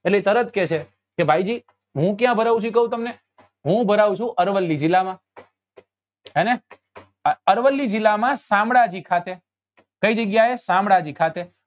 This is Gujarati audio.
એટલે એ તરત કેસે કે ભાઈ જી હું ભરાઉ છું કઉં તમને હું ભરાઉ છું અરવલ્લી જીલ્લા માં હેને અરવલ્લી જીલ્લા માં શામળાજી ખાતે કઈ જગ્યા એ શામળાજી ખાતે